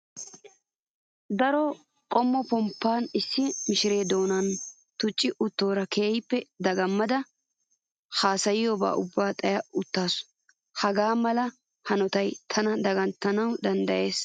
Daro qommo pomppaa issi mishiree doonan tucci uttoora keehippe dagammada hasayiyoobaara ubba xaya uttaasu. Hagaa mala hanotayi tananne daganttanawu danddayees.